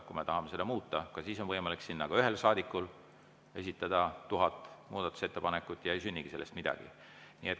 Kui me tahame seda muuta, siis on võimalik ka ühel saadikul esitada kas või 1000 muudatusettepanekut ja ei sünnigi midagi.